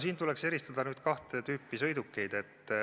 Siin tuleks eristada kahte tüüpi sõidukeid.